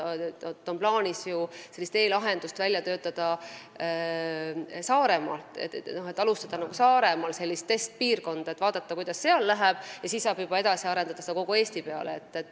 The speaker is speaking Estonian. On plaanis välja töötada e-lahendus Saaremaal, st alustada Saaremaal selle testimist ja vaadata, kuidas seal läheb, siis saab seda edasi arendada kogu Eesti peale.